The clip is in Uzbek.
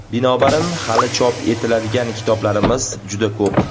Binobarin, hali chop etiladigan kitoblarimiz juda ko‘p.